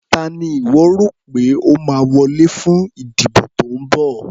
Ta ni ìwọ́ rò pé ó máa wọlé fún ìdìbò tó ń bọ̀.